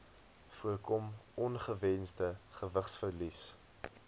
voorkom ongewensde gewigsverlies